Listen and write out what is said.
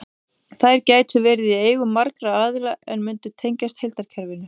Þær gætu verið í eigu margra aðila en mundu tengjast heildarkerfinu.